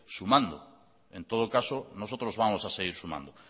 sumando en todo caso nosotros vamos a seguir sumando